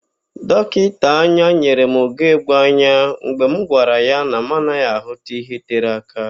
Dọkịta anya nyere m ugegbe anya mgbe m gwara ya na mụ anaghị ahụ ihe tere aka.